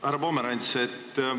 Härra Pomerants!